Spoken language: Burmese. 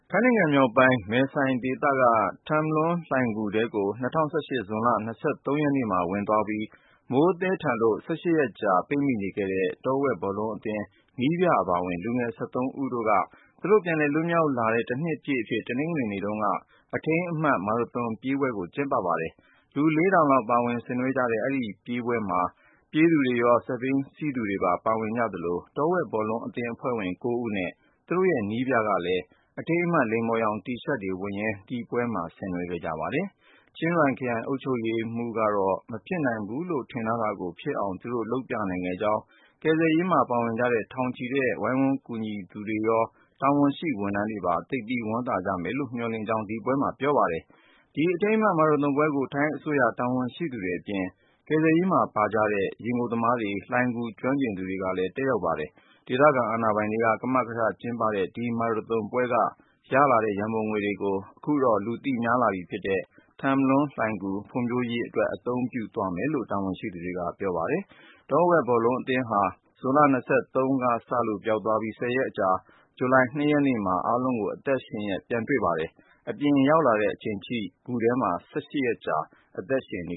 ထိုင်းနိုင်ငံမြောက်ပိုင်း မယ်ဆိုင်ဒေသက ထမ်လွန်းလှိုဏ်ဂူထဲကို ၂၀၁၈ ဇွန်လ ၂၃ ရက်နေ့မှာ ဝင်သွားပြီး မိုးသည်းထန်လို့ ၁၈ ရက်ကြာ ပိတ်မိခဲ့တဲ့ တောဝက်ဘောလုံးအသင်း နည်းပြအပါဝင် လူငယ် ၁၃ ဦးတို့က သူတို့ပြန်လည် လွတ်မြောက်တဲ့ တနှစ်ပြည့်အဖြစ် တနင်္ဂနွေ နေ့တုန်းက အထိမ်းအမှတ် မာရသွန်ပြေးပွဲ ကျင်းပခဲ့ပါတယ်။ လူ ၄၀၀၀ လောက်ပါဝင်ဆင်နွှဲကြတဲ့ ဒီမာရသွန်ပွဲမှာ ပြေးသူတွေ္ဂရော ၊ စက်ဘီးစီးသူတွေပါ ပါဝင်ကြသလို တောဝက်ဘောလုံးသင်း အဖွဲ့ဝင် ၉ဦးနဲ့ သူတို့နည်းပြကလည်း အထိမ်းအမှတ် လိမ္မော်ရောင် T-shirts တွေဝတ်ရင်း ဒီပွဲမှာ ဆင်နွှဲကြပါတယ်။ ချင်းရွိုင်ခရိုင် အုပ်ချုပ်ရေးမှူး Narongsak Osatanakorn ကတော့ မဖြစ်နိုင်ဘူးလို့ ထင်ထားတာကို ဖြစ်အောင် သူတို့ လုပ်ပြနိုင်ခဲ့ကြောင်း ကယ်ဆယ်ရေးမှာ ပါကြတဲ့ ထောင်ချီတဲ့ ဝိုင်းဝန်းကူညီသူတွေရော၊ တာဝန်ရှိ ဝန်ထမ်းတွေပါ သိပ်ဝမ်းသာကြမယ်လို့ မျှော်လင့်ကြောင်း ဒီပွဲမှာပြောသွားပါတယ်။ ဒီ အထိမ်းအမှတ် မာရသွန်ပွဲကို ထိုင်းအစိုးရ တာဝန်ရှိသူတွေအပြင် ကယ်ဆယ်ရေးမှာပါတဲ့ ရေငုပ်သမားတွေ လှိုဏ်ဂူကျွမ်းကျင်သူတွေလည်း တက်ရောက် ကြပါတယ်။ ဒေသခံ အာဏာပိုင်တွေ ကမကထပြု ကျင်းပတဲ့ ဒီမာရသွန်ပွဲက ရလာတဲ့ရန်ပုံငွေကို ခုတော့ လူသိများလာပြီဖြစ်တဲ့ ထမ်လွန်းလှိုဏ်ဂူ ဖွံ့ဖြိုးတိုးတက်ရေးအတွက် သုံးသွားမယ်လို့ တာဝန်ရှိသူတွေက ပြောပါတယ်။ တောဝက်ဘောလုံးအသင်းဟာ ၂၀၁၈ ဇွန်လ ၂၃ ရက်နေ့ကစလို့ ပျောက်သွားခဲ့ပြီး ၁၀- ရက်အကြာ ဂျူလိုင် ၂ရက်နေ့မှာ အားလုံးကို အသက်ရှင်လျက် ပြန်ရှာတွေ့ခဲ့ပါတယ်။ အပြင်ပြန်ရောက်လာချိန်အထိ ဂူထဲမှာ ၁၈ ရက်ကြာ အသက်ရှင်နေ